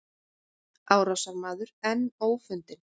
Árásarmaður enn ófundinn